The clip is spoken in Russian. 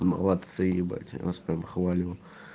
молодцы ебать я вас прямо хвалю